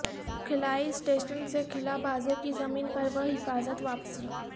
خلائی اسٹیشن سے خلا بازوں کی زمین پر بحفاظت واپسی